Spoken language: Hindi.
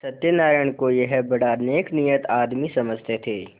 सत्यनाराण को यह बड़ा नेकनीयत आदमी समझते थे